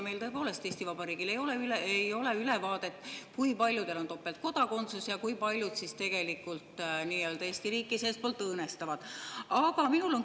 Tõepoolest, Eesti Vabariigil ei ole ülevaadet, kui paljude puhul on kõne all topeltkodakondsus ja kui paljud tegelikult Eesti riiki seestpoolt õõnestavad.